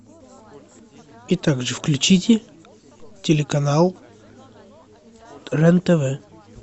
и также включите телеканал рен тв